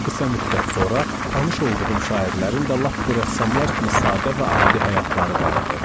Qısa müddət sonra, tanış olduğum şairlərin də lap bu rəssamlar kimi sadə və adi həyatları vardı.